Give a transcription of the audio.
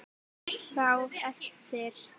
Pizza á eftir.